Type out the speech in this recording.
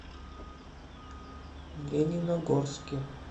лениногорске